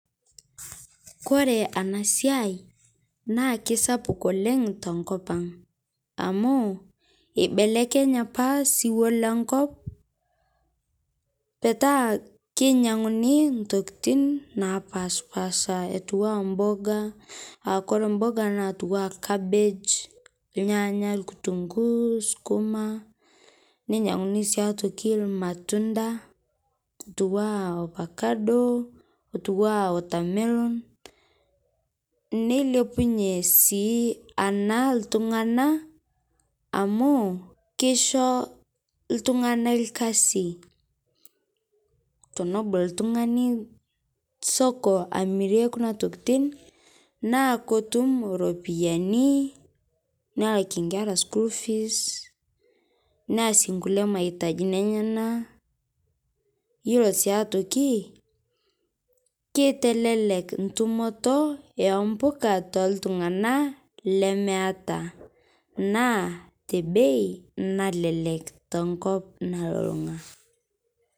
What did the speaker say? Kore ana siai naa keisapuk oleng to nkopang amu ebelekenya apaa siwuo le nkop petaa keinyang'uni ntokitin napaspasha etua mboga aa kore mboga natua kabeej , lnyanya. lkitunguu, sukuma. Neinyang'uni sii aitokii lmatunda otua ofakado, otua watermelon. Neilepunye sii ana ltung'ana amu keishoo ltung'ana ilkasi. Tonobool ltung'ani soko amiirie kuna ntokitin naa kotuum ropiani nelakii nkera school fees neas nkulee maitajini enyena. Iyeloo sii aitokii keitelelek ntumoto eo mbukaa to ltung'ana lemeeta naa te bei nalelek to nkop nalulung'a.